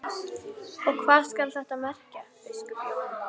Og hvað skal þetta merkja, biskup Jón?